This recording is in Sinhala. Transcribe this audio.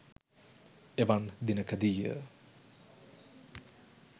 එවන් දිනකදීය.